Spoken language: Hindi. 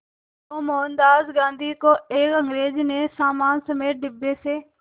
तो मोहनदास गांधी को एक अंग्रेज़ ने सामान समेत डिब्बे से